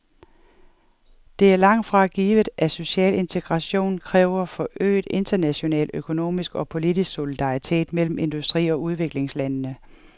Det er langt fra givet, at social integration kræver forøget international økonomisk og politisk solidaritet mellem industri og udviklingslandene.